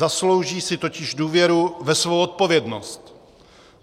Zaslouží si totiž důvěru ve svou odpovědnost.